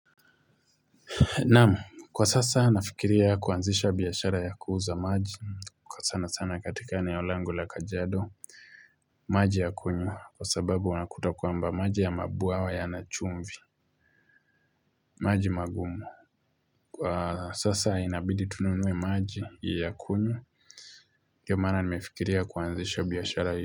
Naam, kwa sasa nafikiria kuanzisha biashara ya kuuza maji. Kwa sana sana katika eneolangu la kajiado. Maji ya kunywa, kwa sababu unakuta kwamba maji ya mabwawa ya nachumvi. Maji magumu. Sasa inabidi tununue maji ya kunywa. Ndio maana nimefikiria kuanzisha biashara hii.